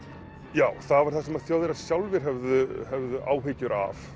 já það var það sem Þjóðverjar sjálfir höfðu höfðu áhyggjur af